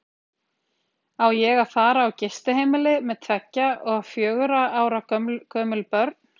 Á ég að fara á gistiheimili með tveggja og fjögurra ára gömul börn?